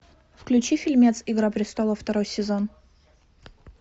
включи фильмец игра престолов второй сезон